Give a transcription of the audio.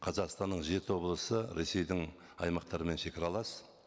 қазақстанның жеті облысы ресейдің аймақтарымен шегаралас